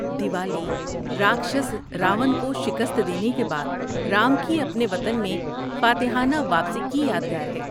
دیوالی راکھشس راون کو شکست دینے کے بعد رام کی اپنے وطن میں فاتحانہ واپسی کی یادگار ہے۔